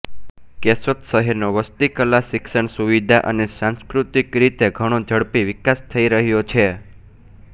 કેશોદ શહેરનો વસ્તી કલા શિક્ષણ સુવિધા અને સાંસ્કૃતિક રીતે ઘણો ઝડપી વિકાસ થઇ રહ્યો છે